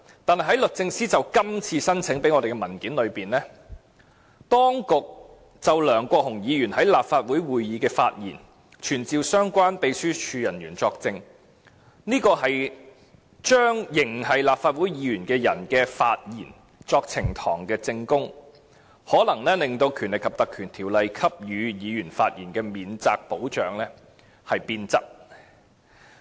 可是，在律政司就今次申請而向我們提供的文件中，當局就梁國雄議員在立法會會議的發言傳召相關秘書處人員作證的做法，便是把仍是立法會議員的人的發言用作呈堂證供，可能會令《立法會條例》給予議員的發言免責保障變質。